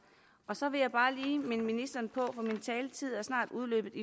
så vil jeg bare lige minde ministeren om for min taletid er snart udløbet